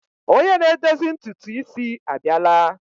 Onye na-edozi ntutu isi a bịala.